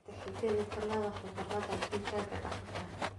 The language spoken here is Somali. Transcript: Tixgeli talada khubarada digaaga daqataa.